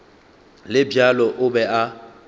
le bjalo o be a